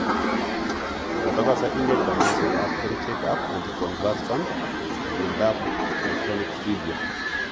Matagose ine kanyaiset ap kerichekap anticonvulsant miondap Myoclonic seizure.